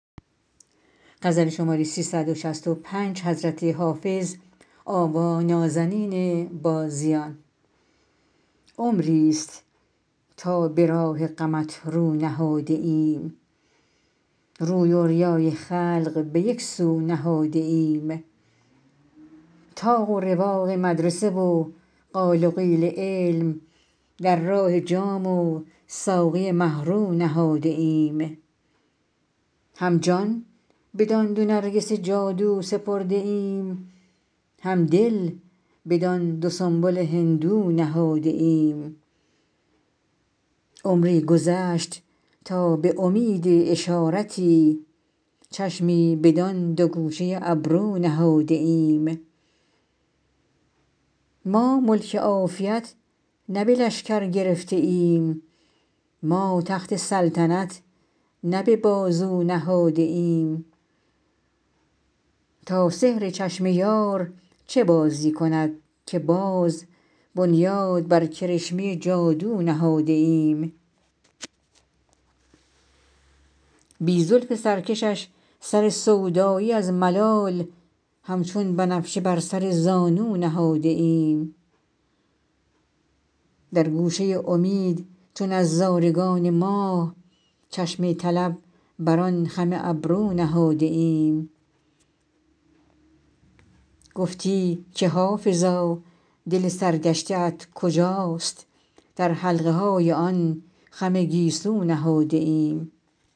عمریست تا به راه غمت رو نهاده ایم روی و ریای خلق به یک سو نهاده ایم طاق و رواق مدرسه و قال و قیل علم در راه جام و ساقی مه رو نهاده ایم هم جان بدان دو نرگس جادو سپرده ایم هم دل بدان دو سنبل هندو نهاده ایم عمری گذشت تا به امید اشارتی چشمی بدان دو گوشه ابرو نهاده ایم ما ملک عافیت نه به لشکر گرفته ایم ما تخت سلطنت نه به بازو نهاده ایم تا سحر چشم یار چه بازی کند که باز بنیاد بر کرشمه جادو نهاده ایم بی زلف سرکشش سر سودایی از ملال همچون بنفشه بر سر زانو نهاده ایم در گوشه امید چو نظارگان ماه چشم طلب بر آن خم ابرو نهاده ایم گفتی که حافظا دل سرگشته ات کجاست در حلقه های آن خم گیسو نهاده ایم